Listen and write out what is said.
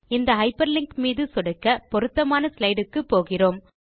இந்த hyperlink மீது சொடுக்க பொருத்தமான ஸ்லைடு க்கு போகிறோம்